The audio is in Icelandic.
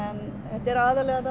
þetta er aðallega að